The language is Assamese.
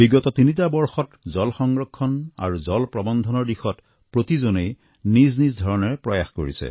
বিগত তিনিটা বৰ্ষত জল সংৰক্ষণ আৰু জল প্ৰৱন্ধনৰ দিশত প্ৰতিজনেই নিজ নিজ ধৰণে প্ৰয়াস কৰিছে